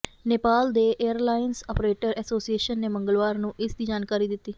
ਨੇਪਾਲ ਦੇ airlines operator association ਨੇ ਮੰਗਲਵਾਰ ਨੂੰ ਇਸ ਦੀ ਜਾਣਕਾਰੀ ਦਿੱਤੀ